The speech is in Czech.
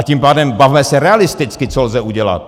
A tím pádem, bavme se realisticky, co lze udělat.